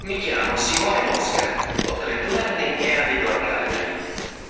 вот и обед